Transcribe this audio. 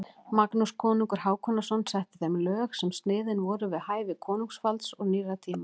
Magnús konungur Hákonarson setti þeim lög sem sniðin voru við hæfi konungsvalds og nýrra tíma.